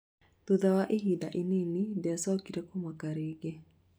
thutha wa ihinda inini ndiacokire kumaka rĩngĩ